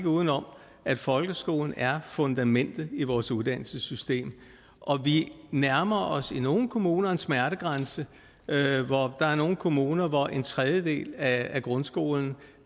uden om at folkeskolen er fundamentet i vores uddannelsessystem og vi nærmer os i nogle kommuner en smertegrænse der er nogle kommuner hvor en tredjedel af grundskolen